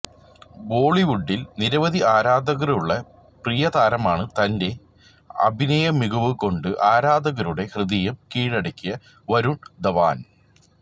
ബോളിവുഡില് നിരവധി ആരാധകരുള്ള പ്രിയതാരമാണ് തന്റെ അഭിനയമികവുകൊണ്ട് ആരാധകരുടെ ഹൃദയം കീഴടക്കിയ വരുണ് ധവാന്